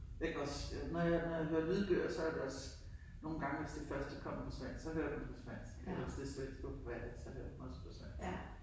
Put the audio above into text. Jeg kan også når jeg når jeg hører lydbøger så er det også nogle gange hvis det først er kommet på svensk så hører jeg det på svensk eller hvis det svenske forfattere så det også på svensk